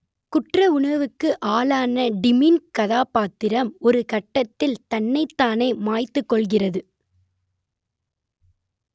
குற்றவுணர்வுக்கு ஆளான டிம்மின் கதாபாத்திரம் ஒருகட்டத்தில் தன்னைத்தானே மாய்த்துக் கொள்கிறது